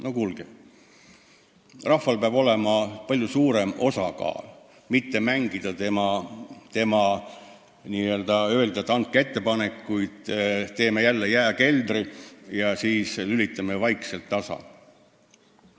No kuulge, rahval peab olema palju suurem osa, ei ole vaja mitte mängida ja öelda, et tehke ettepanekuid, me teeme jääkeldri ja jälle vaikselt tasalülitame.